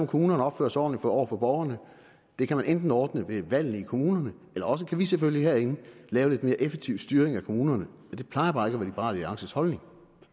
kommunerne opfører sig ordentligt over for borgerne det kan man enten ordne ved valgene i kommunerne eller også kan vi selvfølgelig herinde lave lidt mere effektiv styring af kommunerne det plejer bare ikke at være liberal alliances holdning